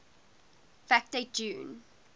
fact date june